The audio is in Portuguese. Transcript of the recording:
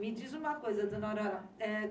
Me diz uma coisa, dona Aurora.